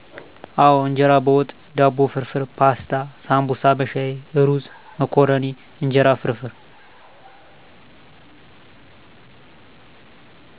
አወ እንጀራ በወጥ፣ ዳቦ ፍርፍር፣ ፓስታ፣ ሳንቡሳ በሻይ፣ እሩዝ፣ መኮረኒ፣ እንጀራ ፍርፍር።